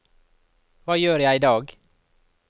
hva gjør jeg idag